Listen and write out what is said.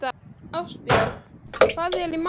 Ástbjörn, hvað er í matinn?